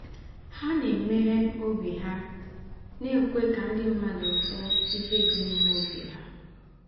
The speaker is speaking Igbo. Há na-eméghè óbì hà, na-èkwé kà ndị̀ mmádụ̀ hụ́ íhè dị̀ n’ímè óbì hà